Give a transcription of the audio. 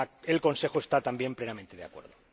el Consejo está también plenamente de acuerdo.